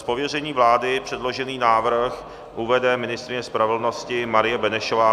Z pověření vlády předložený návrh uvede ministryně spravedlnosti Marie Benešová.